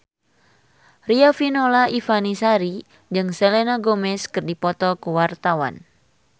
Riafinola Ifani Sari jeung Selena Gomez keur dipoto ku wartawan